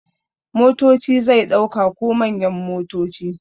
Motoci zai dauka da manyan motoci.